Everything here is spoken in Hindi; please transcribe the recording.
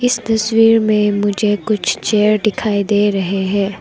इस तस्वीर में मुझे कुछ चेयर दिखाई दे रहे हैं।